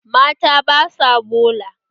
Mata ba sa bola.